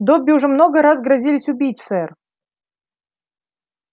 добби уже много раз грозились убить сэр